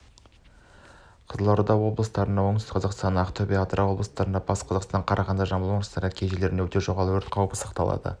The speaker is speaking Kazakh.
қызылорда облысында оңтүстік қазақстан ақтөбе атырау облыстарында батыс қазақстан қарағаңды жамбыл облыстарының кей жерлерінде өте жоғары өрт қауіпі сақталады